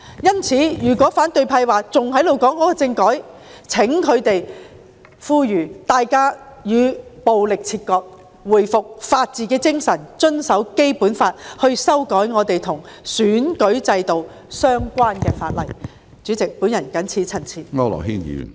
因此，如果反對派仍然談政改，請他們呼籲市民與暴力切割，回復法治精神，遵守《基本法》，並透過修訂與選舉制度相關的法例來達致他們的目標。